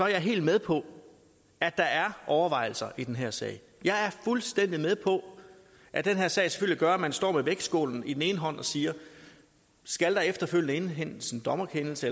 jeg helt med på at der er overvejelser i den her sag jeg er fuldstændig med på at den her sag selvfølgelig gør at man står med vægtskålen i hånden og siger skal der efterfølgende indhentes en dommerkendelse